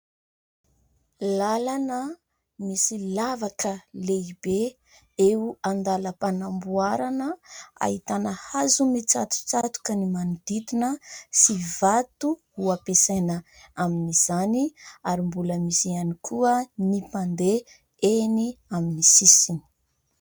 Lalana misy lavaka lehibe eo an-dalam-panamboarana. Ahitana hazo mitsatotsatoka ny manodidina sy vato ho ampiasaina amin'izany ary mbola misy ihany koa ny mpandeha eny amin'ny sisiny.